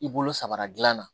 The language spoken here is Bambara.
I bolo sabara dilan na